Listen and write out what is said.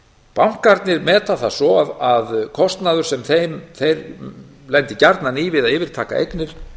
bankarnir meta það svo að kostnaður sem þeir lendi gjarnan í við að yfirtaka eignir